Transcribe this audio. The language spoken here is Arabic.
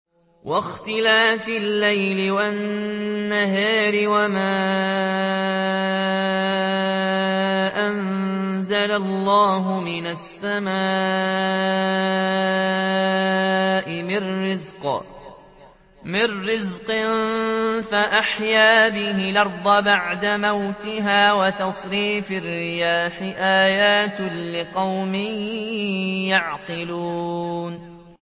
وَاخْتِلَافِ اللَّيْلِ وَالنَّهَارِ وَمَا أَنزَلَ اللَّهُ مِنَ السَّمَاءِ مِن رِّزْقٍ فَأَحْيَا بِهِ الْأَرْضَ بَعْدَ مَوْتِهَا وَتَصْرِيفِ الرِّيَاحِ آيَاتٌ لِّقَوْمٍ يَعْقِلُونَ